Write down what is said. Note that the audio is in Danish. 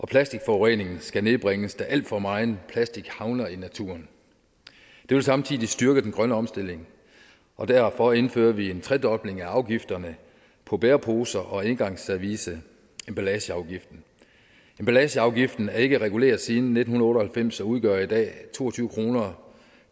plastikforureningen skal nedbringes da al for megen plastik havner i naturen det vil samtidig styrke den grønne omstilling og derfor indfører vi en tredobling af afgifterne på bæreposer og engangsservice emballageafgiften emballageafgiften er ikke reguleret siden nitten otte og halvfems og udgør i dag to og tyve kroner